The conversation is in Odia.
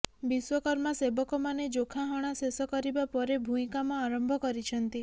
ବିଶ୍ବକର୍ମା ସେବକମାନେ ଯୋଖା ହଣା ଶେଷ କରିବା ପରେ ଭୂଇଁ କାମ ଆରମ୍ଭ କରିଛନ୍ତି